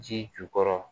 Ji jukɔrɔ